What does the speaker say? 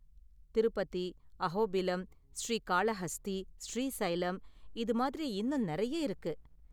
திருப்பதி, அஹோபிலம், ஸ்ரீகாளஹஸ்தி, ஸ்ரீசைலம் இது மாதிரி இன்னும் நெறைய இருக்கு.